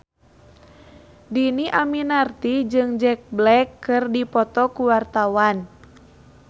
Dhini Aminarti jeung Jack Black keur dipoto ku wartawan